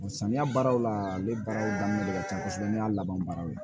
Samiya baaraw la ale baaraw daminɛ de ka ca kosɛbɛ ne y'a laban baaraw ye